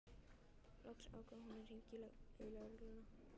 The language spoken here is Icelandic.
Loks ákvað hann að hringja í lögregluna.